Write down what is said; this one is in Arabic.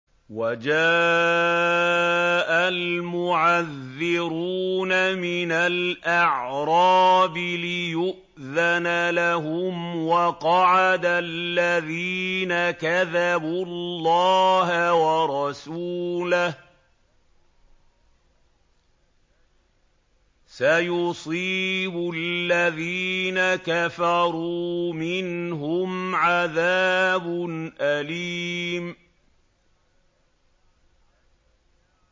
وَجَاءَ الْمُعَذِّرُونَ مِنَ الْأَعْرَابِ لِيُؤْذَنَ لَهُمْ وَقَعَدَ الَّذِينَ كَذَبُوا اللَّهَ وَرَسُولَهُ ۚ سَيُصِيبُ الَّذِينَ كَفَرُوا مِنْهُمْ عَذَابٌ أَلِيمٌ